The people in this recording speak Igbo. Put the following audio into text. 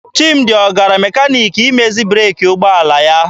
Chimdi ọ gara mekaniki imezi breeki ụgbọala ya?